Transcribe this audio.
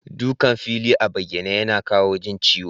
Dukan fili a bayyane yana kawa jin ciwo.